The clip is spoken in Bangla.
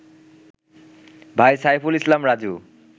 ভাই সাইফুল ইসলাম রাজু